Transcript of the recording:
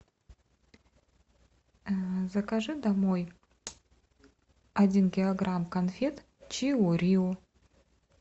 закажи домой один килограмм конфет чио рио